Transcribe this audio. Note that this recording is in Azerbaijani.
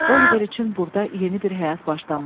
Oliver üçün burda yeni bir həyat başlanmışdı.